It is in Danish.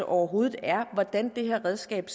overhovedet er og hvordan det redskab